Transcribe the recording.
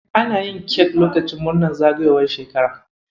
Ana yin kek lokacin murnan zagayowar shekara.